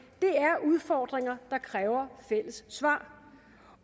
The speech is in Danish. er udfordringer der kræver fælles svar